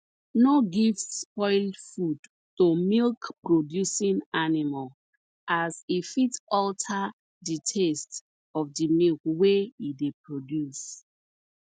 no give spoil food to milkproducing animal as e fit alter the taste of the milk wey e dey produce